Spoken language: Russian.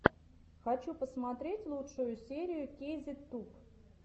хочу посмотреть лучшую серию кейзет туб